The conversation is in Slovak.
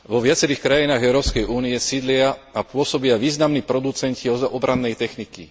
Vo viacerých krajinách Európskej únie sídlia a pôsobia významní producenti obrannej techniky.